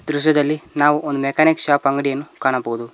ಈ ದೃಶ್ಯದಲ್ಲಿ ನಾವು ಒಂದು ಮೆಕಾನಿಕ್ ಶಾಪ್ ಅಂಗಡಿಯನ್ನು ಕಾಣಬಹುದು.